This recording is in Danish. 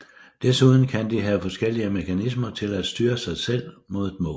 Desuden kan de have forskellige mekanismer til at styre sig selv mod et mål